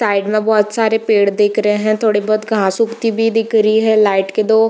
side में बहुत सारे पेड़ दिख रहे हैं थोड़ी बहुत घास उगती भी दिख रही है लाइट के दो --